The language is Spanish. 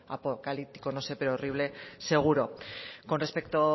apocalíptico no sé pero horrible seguro con respecto